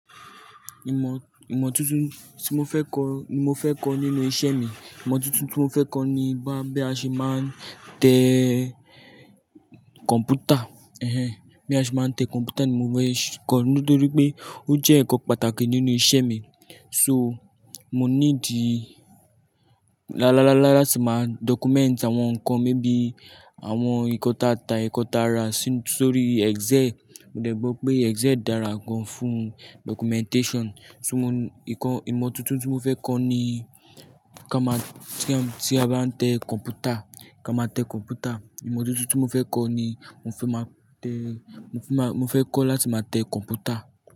Ìmọ̀, ìmọ̀ tuntun tí mo fẹ́ kọ, ni mo fẹ́ kọ nínú iṣẹ́ mi. Ìmọ̀ tuntun tí mo fẹ́ kọ ni bá bi àṣe máa ń tẹ kọ̀ǹpútà. Ẹ̀hẹn! Bí a ṣe máa ń tẹ kọ̀ǹpútà ni mo fẹ́ kọ nítorí pé ó jẹ́ ǹkan pàtàkì nínú iṣẹ́ mi. So, mo ní di lá-lá-lá-lá láti máa document àwọn nǹkan, mébi àwọn nǹkan ìkọ́ta ta, ìkọ́ta rà sórí Excel. Mo dẹ̀gbọ́ pé Excel dára gan fún documentation. So mo-- ìkọ́, ìmọ̀ tuntun tí mo fẹ́ kọ ni ká máa tí a bá ń tẹ kọ̀ǹpútà, ká máa tẹ kọ̀ǹpútà. Ìmọ̀ tuntun tí mo fẹ́ kọ ni mo fẹ́ máa tẹ, mo fẹ́ máa, mo fẹ́ kọ láti máa tẹ kọ̀ǹpútà.